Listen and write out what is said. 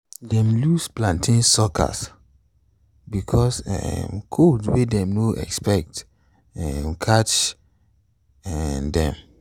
dem lose plantain suckers because um cold wey dem no expect um catch um dem.